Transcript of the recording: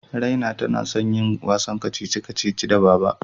Raina tana son yin wasan kacici-kacici da Baba.